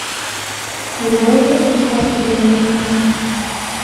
врубай кино сказка для наташи